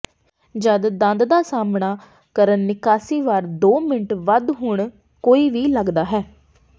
ਜਦ ਦੰਦ ਦਾ ਸਾਹਮਣਾ ਕਰਨ ਨਿਕਾਸੀ ਵਾਰ ਦੋ ਮਿੰਟ ਵੱਧ ਹੁਣ ਕੋਈ ਵੀ ਲੱਗਦਾ ਹੈ